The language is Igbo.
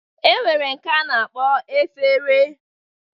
E nwere nke a na-akpọ efere